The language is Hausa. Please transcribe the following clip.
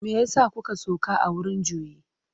Me ya sa kuka sauka a wurin juyi?